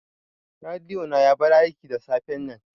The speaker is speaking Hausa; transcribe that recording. Rediyo na ya bar aiki da safen nan